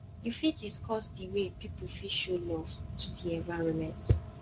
you fit dicuss di way people fit show love to di environment